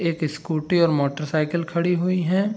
एक स्कूटी और motorcycle खड़ी हुई है।